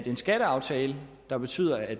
en skatteaftale der betyder at